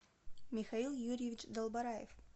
михаил юрьевич долбораев